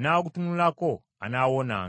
n’agutunulako, anaawonanga.”